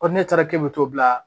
ne taara k'e bɛ t'o bila